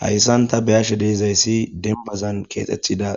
Hayssan ta beyashe deezayssi dembazan keexetida